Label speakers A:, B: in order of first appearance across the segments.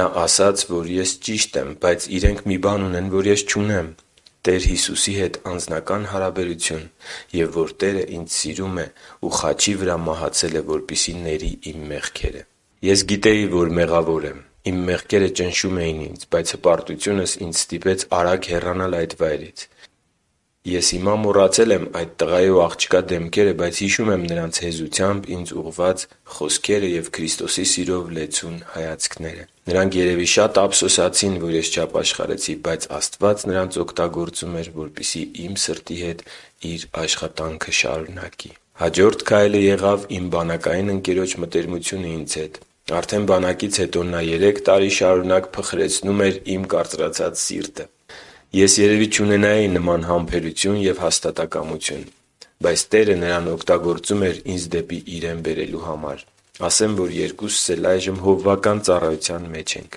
A: Նա ասաց, որ ես ճիշտ եմ, բայց իրենք մի բան ունեն, որ ես չունեմ՝ Տեր Հիսուսի հետ անձնական հարաբերություն, և որ Տերը ինձ սիրում է և խաչի վրա մահացել է, որպեսզի ների իմ մեղքերը։ Ես գիտեի, որ մեղավոր եմ։ Իմ մեղքերը ճնշում էին ինձ, բայց հպարտությունս ինձ ստիպեց արագ հեռանալ այդ վայրից։ Ես հիմա մոռացել եմ այդ տղայի ու աղջկա դեմքերը, բայց հիշում եմ նրանց հեզությամբ ինձ ուղղված խոսքերը և Քրիստոսի սիրով լեցուն հայացքները։ Նրանք երևի շատ ափսոսացին, որ ես չապաշխարեցի, բայց Աստված նրանց միջոցով իմ սրտի հետ Իր աշխատանքն էր տանում։ Հաջորդ քայլը եղավ իմ բանակային ընկերոջ մտերմությունը ինձ հետ։ Արդեն բանակից հետո նա երեք տարի շարունակ փխրեցնում էր իմ կարծրացած սիրտը։ Ես երևի չունենայի նման համբերություն և հաստատակամություն։ Բայց Տերը նրան օգտագործում էի ինձ դեպի Իրեն բերելու համար։ Ասեմ, որ երկուսս էլ այժմ հովվական ծառայության մեջ ենք։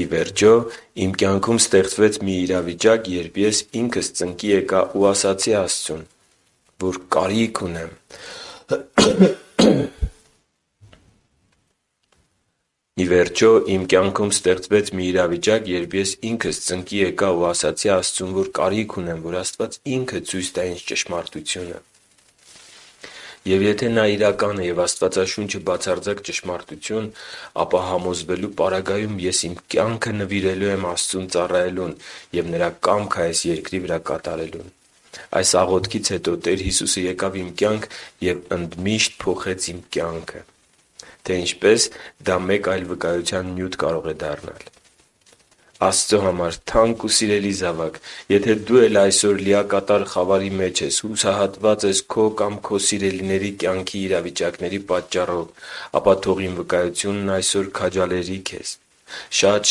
A: Ի վերջո, իմ կյանքում ստեղծվեց մի իրավիճակ, երբ ես ինքս ծնկի եկա ու ասացի Աստծուն, որ կարիք ունեմ, որ Աստված Ինքը ցույց տա ինձ ճշմարտությունը։ Եվ եթե Նա իրական է և Աստվածաշունչը բացարձակ ճշմարտություն է, ապա համոզվելու պարագայում ես իմ կյանքը նվիրելու եմ Աստծուն ծառայելուն և Նրա կամքը այս երկրի վրա կատարելուն։ Այս աղոթքից հետո Տեր Հիսուսը եկավ իմ կյանք և ընդմիշտ փոխեց իմ կյանքը: Թե ինչպես, դա մեկ այլ վկայության նյութ կարող է դառնալ։ Աստծո համար թանկ ու սիրելի՛ զավակ, եթե դու էլ այսօր լիակատար խավարի մեջ ես, հուսահատված ես քո կամ քո սիրելիների կյանքի իրավիճակների պատճառով, ապա թող իմ վկայությունն այսօր քաջալերի քեզ։ Շատ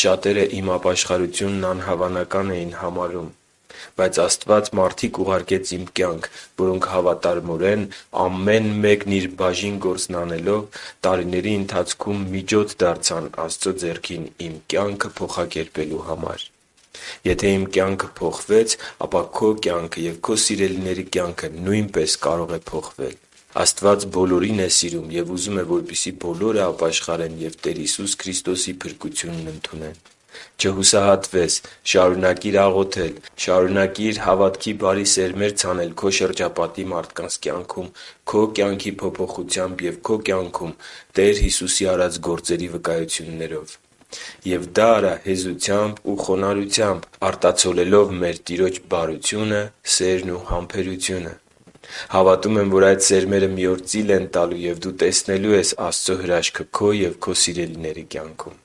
A: շատերը իմ ապաշխարությունն անհավանական էին համարում։ Բայց Աստված մարդիկ ուղարկեց իմ կյանք, որոնք հավատարմորեն, ամեն մեկն իր բաժին գործն անելով, տարիների ընթացքում միջոց դարձան Աստծո ձեռքին իմ կյանքը փոխակերպելու համար։ Եթե իմ կյանքը փոխվեց, ապա քո կյանքը և քո սիրելիների կյանքը նույնպես կարող է փոխվել։ Աստված բոլորին է սիրում և ուզում է, որ բոլորը ապաշխարեն ու Տեր Հիսուս Քրիստոսի փրկությունն ընդունեն։ Չհուսահատվե՛ս։ Շարունակի՛ր աղոթել։ Շարունակի՛ր հավատքի բարի սերմեր ցանել քո շրջապատի մարդկանց կյանքում քո կյանքի փոփոխությամբ և քո կյանքում Տեր Հիսուսի արած գործերի վկայություններով։ Եվ դա արա հեզությամբ ու խոնարհությամբ՝ արտացոլելով մեր Տիրոջ բարությունը, սերն ու համբերությունը։ Հավատում եմ, որ այդ սերմերը մի օր ծիլ են տալու և դու տեսնելու ես Աստծո հրաշքը քո և քո սիրելիների կյանքում։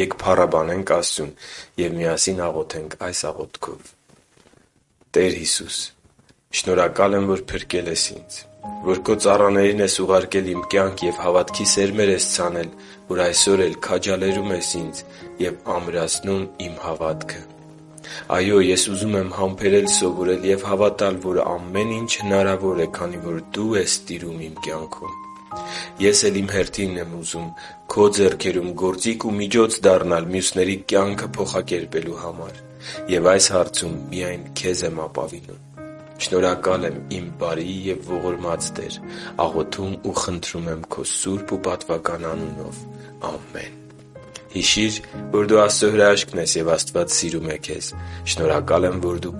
A: Եկ փառաբանենք Աստծուն և միասին աղոթենք այս աղոթքով․ «Տեր Հիսո՛ւս, շնորհակալ եմ, որ փրկել ես ինձ, որ քո ծառաներին ես ուղարկել իմ կյանք և հավատքի սերմեր ես ցանել, որ այսօր էլ քաջալերում ես ինձ ու ամրացնում իմ հավատքը։ Այո՛, ես ուզում եմ համբերել սովորել և հավատալ, որ ամեն ինչ հնարավոր է, քանի որ Դու ես տիրում իմ կյանքում: Ես էլ իմ հերթին եմ ուզում Քո ձեռքերում գործիք ու միջոց դառնալ մյուսների կյանքը փոխակերպելու համար։ Եվ այս հարցում միայն Քեզ եմ ապավինում։ Շնորհակալ եմ իմ բարի և ողորմած Տեր։ Աղոթում ու խնդրում եմ Քո սուրբ ու պատվական անունով։ Ամե՛ն»։ Հիշի՛ր, որ դու Աստծո հրաշքն ես, և Աստված սիրում է քեզ։ Շնորհակալ եմ, որ դու